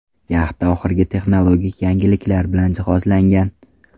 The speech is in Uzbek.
Yaxta oxirgi texnologik yangiliklar bilan jihozlangan.